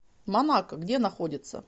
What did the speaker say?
монако где находится